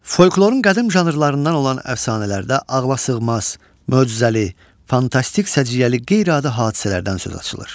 Folklorun qədim janrlarından olan əfsanələrdə ağlasığmaz, möcüzəli, fantastik səciyyəli qeyri-adi hadisələrdən söz açılır.